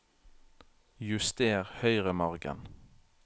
Juster høyremargen